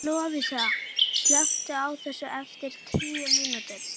Lovísa, slökktu á þessu eftir tíu mínútur.